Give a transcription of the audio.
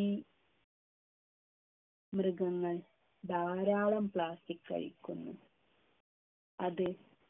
ഈ മൃഗങ്ങൾ ധാരാളം plastic കഴിക്കുന്നു അത്